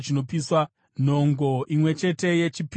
nhongo imwe chete yechipiriso chechivi;